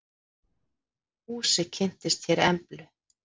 Fúsi kynnist hér Emblu.